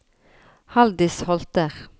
Haldis Holter